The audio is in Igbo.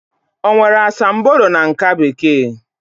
O nwere asambodo na nká Bekee?